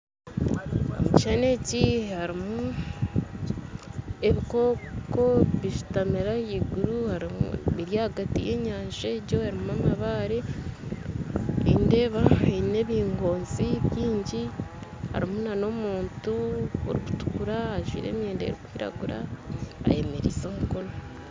Omu kishushani eki harimu ebikooko bishutamire ahaiguru biri ahagati y'enyanja egyo erimu amabaare nindeeba eine ebingoonzi byingi harimu n'omuntu arikutukura ajwaire emyenda erukwiragura ayemereize omukono.